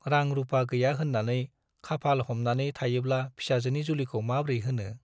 रां-रुपा गैया होन्नानै खाफाल हमनानै थायोब्ला फिसाजोनि जुलिखौ माब्रै होनो !